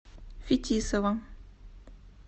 фетисова